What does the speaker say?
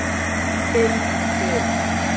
Um þig.